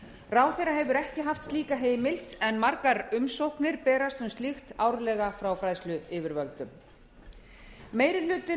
ráðherra hefur ekki haft slíka heimild en margar umsóknir berast um slíkt árlega frá fræðsluyfirvöldum meiri hluti